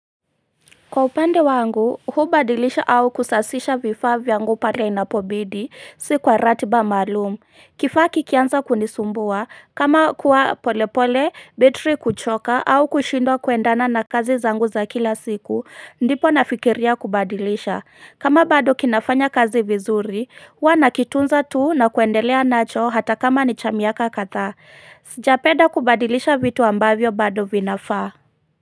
Kwa upande wangu hubadilisha au kusasisha vifaa vyangu pale inapobidi si kwa ratiba maalum. Kifaa kikianza kunisumbua kama kuwa polepole betri kuchoka au kushindwa kuendana na kazi zangu za kila siku ndipo nafikiria kubadilisha kama bado kinafanya kazi vizuri huwa nakitunza tu na kuendelea nacho hata kama ni chamiaka kadhaa sijapenda kubadilisha vitu ambavyo bado vinafaa.